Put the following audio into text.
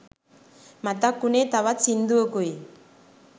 මතක් වුනේ තවත් සිංදුවකුයි